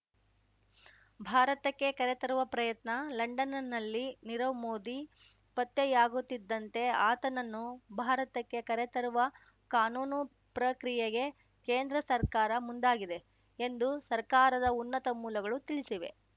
ಭಾರತಕ್ಕೆ ಕರೆತರುವ ಪ್ರಯತ್ನ ಲಂಡನ್‌ನಲ್ಲಿ ನೀರವ್ ಮೋದಿ ಪತ್ತೆಯಾಗುತ್ತಿದ್ದಂತೆ ಆತನನ್ನು ಭಾರತಕ್ಕೆ ಕರೆತರುವ ಕಾನೂನು ಪ್ರಕ್ರಿಯೆಗೆ ಕೇಂದ್ರ ಸರ್ಕಾರ ಮುಂದಾಗಿದೆ ಎಂದು ಸರ್ಕಾರದ ಉನ್ನತ ಮೂಲಗಳು ತಿಳಿಸಿವೆ